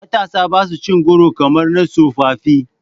Matasa ba sa cin goro kamar na tsofaffi.